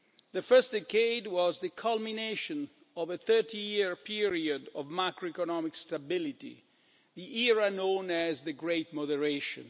The first decade was the culmination of a thirty-year period of macroeconomic stability the era known as the Great Moderation'.